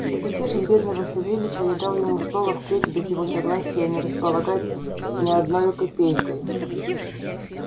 чтоб утешить бедного савельича я дал ему слово впредь без его согласия не располагать ни одною копейкою